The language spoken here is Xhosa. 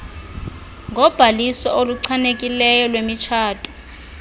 ngobhaliso oluchanekileyo lwemitshato